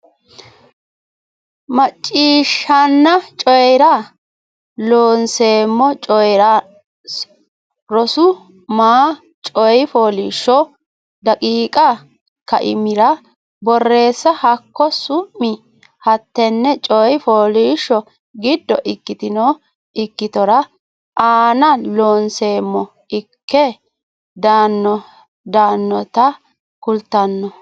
Macciishshanna Coyi ra Loonseemmo Coyi ra su ma coy fooliishsho daqiiqa kaimira borreessa hakko su mi hattenne coy fooliishsho giddo ikkitino ikkitora anna Loonseemmo ikke daannota kultanno.